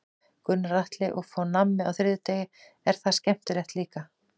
Gunnar Atli: Og fá nammi á þriðjudegi, er það skemmtilegt líka?